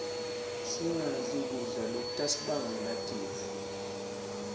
singadli kudla lokutasibangela tifo